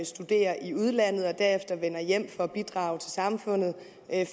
studerer i udlandet og derefter vender hjem for at bidrage til samfundet